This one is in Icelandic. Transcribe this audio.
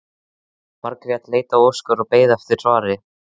Margrét leit á Óskar og beið eftir svari.